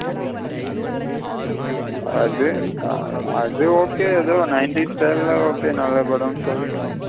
அது அது okay அத nineties time ல okay நல்ல படமனு சொல்லிக்கிலா.